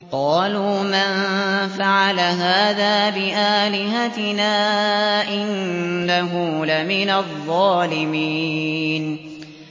قَالُوا مَن فَعَلَ هَٰذَا بِآلِهَتِنَا إِنَّهُ لَمِنَ الظَّالِمِينَ